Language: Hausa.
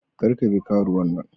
Kar ka bi karuwan nan.